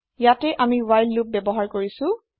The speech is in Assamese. ইয়াতে আমি হ্ৱাইল লোপ ব্যৱহাৰ কৰিছো